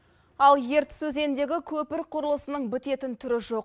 ал ертіс өзеніндегі көпір құрылысының бітетін түрі жоқ